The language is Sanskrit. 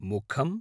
मुखम्